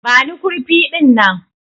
Bani kurfi dinnan!